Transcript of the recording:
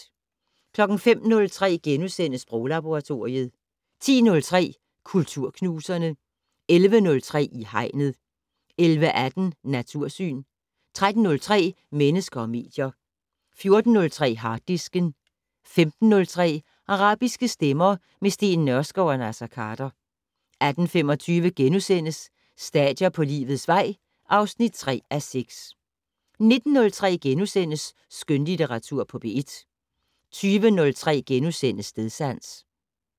05:03: Sproglaboratoriet * 10:03: Kulturknuserne 11:03: I Hegnet 11:18: Natursyn 13:03: Mennesker og medier 14:03: Harddisken 15:03: Arabiske stemmer - med Steen Nørskov og Naser Khader 18:25: Stadier på livets vej (3:6)* 19:03: Skønlitteratur på P1 * 20:03: Stedsans *